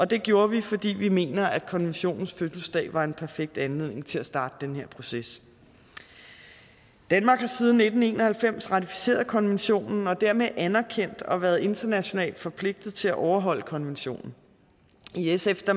det gjorde vi fordi vi mener at konventionens fødselsdag var en perfekt anledning til at starte den her proces danmark har siden nitten en og halvfems ratificeret konventionen og dermed anerkendt og været internationalt forpligtet til at overholde konventionen i sf